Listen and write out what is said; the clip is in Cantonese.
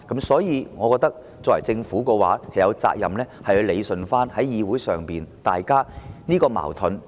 所以，我認為政府有責任理順議會上大家的矛盾。